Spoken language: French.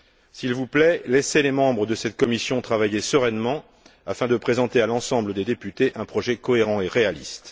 S'il vous plaît, laissez les membres de cette commission travailler sereinement afin de présenter à l'ensemble des députés un projet cohérent et réaliste.